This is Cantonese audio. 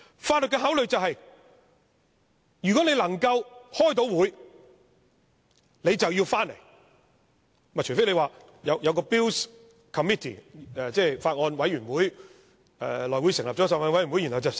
法律的考慮便是，如果能夠開會，便要回來，除非內務委員會成立了一個法案委員會來審議。